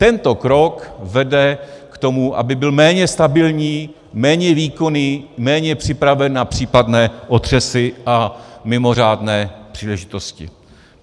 Tento krok vede k tomu, aby byl méně stabilní, méně výkonný, méně připravený na případné otřesy a mimořádné příležitosti.